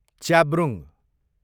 च्याब्रुङ